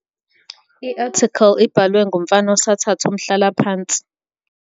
i-athikhili ibhawe ngumfana osathatha umhlala phansi